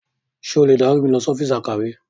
Ṣé o lè dárí mi lọ sí ọ́fíìsì akọ̀we?